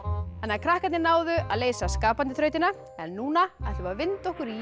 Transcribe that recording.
krakkarnir náðu að leysa skapandi þrautina en núna ætlum við að vinda okkur í